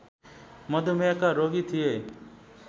मधुमेहका रोगी थिए